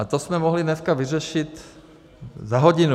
A to jsme mohli dneska vyřešit za hodinu.